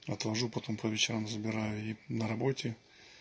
отвожу потом по вечером забираю и на работе